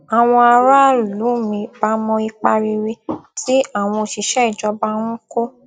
àwọn aráàlú mi bá mọ ipa rere tí àwọn òṣìṣẹ ìjọba ń kó